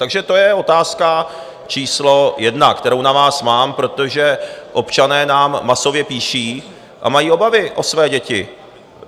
Takže to je otázka číslo jedna, kterou na vás mám, protože občané nám masově píší a mají obavy o své děti.